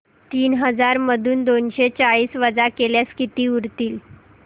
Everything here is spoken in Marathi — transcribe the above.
तीन हजार मधून दोनशे चाळीस वजा केल्यास किती उरतील